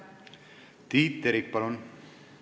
Tiit Terik, palun!